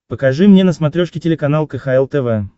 покажи мне на смотрешке телеканал кхл тв